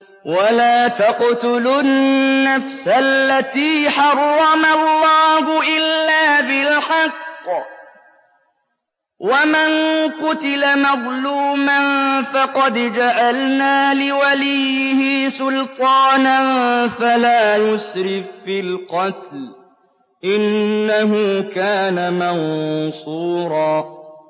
وَلَا تَقْتُلُوا النَّفْسَ الَّتِي حَرَّمَ اللَّهُ إِلَّا بِالْحَقِّ ۗ وَمَن قُتِلَ مَظْلُومًا فَقَدْ جَعَلْنَا لِوَلِيِّهِ سُلْطَانًا فَلَا يُسْرِف فِّي الْقَتْلِ ۖ إِنَّهُ كَانَ مَنصُورًا